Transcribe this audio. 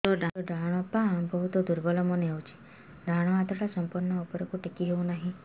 ମୋର ଡାହାଣ ପାଖ ବହୁତ ଦୁର୍ବଳ ମନେ ହେଉଛି ଡାହାଣ ହାତଟା ସମ୍ପୂର୍ଣ ଉପରକୁ ଟେକି ହେଉନାହିଁ